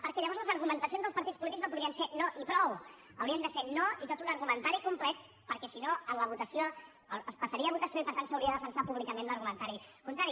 perquè llavors les argumentacions dels partits polítics no podrien ser no i prou haurien de ser no i tot un argumentari complet perquè si no es posaria a votació i per tant s’hauria de defensar públicament l’argumentari contrari